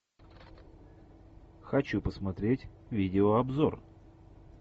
хочу посмотреть видеообзор